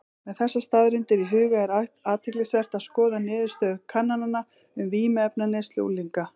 Með þessar staðreyndir í huga er athyglisvert að skoða niðurstöður kannana um vímuefnaneyslu unglinga.